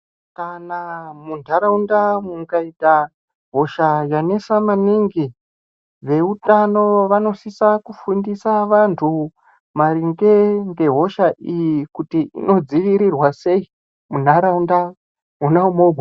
Kana munharaunda mukaita hosha yanesa maningi, veutano vanosisa kufundisa vantu maringe nehosha iyi. Kuti inodzivirirwa sei munharaunda mwona umwomwo.